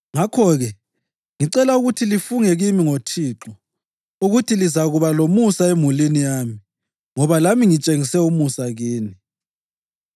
Ngakho-ke ngicela ukuthi lifunge kimi ngoThixo ukuthi lizakuba lomusa emulini yami ngoba lami ngitshengise umusa kini.